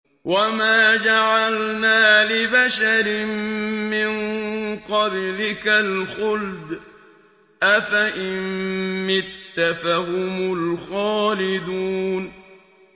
وَمَا جَعَلْنَا لِبَشَرٍ مِّن قَبْلِكَ الْخُلْدَ ۖ أَفَإِن مِّتَّ فَهُمُ الْخَالِدُونَ